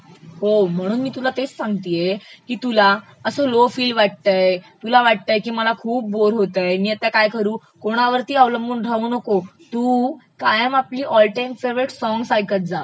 हो म्हणून मी तुला तेच सांगतये की तुला असं लो फिल वाटतयं, तुला वाटतय की मला खूप बोर होतय, मी आता काय करू कोणावरतीअवलंबून राहू नको, तू कायम आपली ऑल टाइम फेवरेट सॉंग्स ऐकतं जा